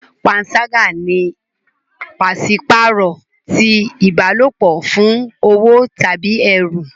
Panṣaga ni paṣipaarọ ti ìbálòpọ̀ fún owo tàbí ẹrú.